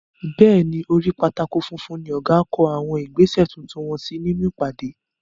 Bẹ́ẹ̀ ni, orí pátákó funfun ní ọ̀gá kó àwọn ìgbésè tuntun wọ́n sí nínú ìpàdé.